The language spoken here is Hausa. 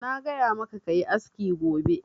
Na gaya ma ka yi aski gobe!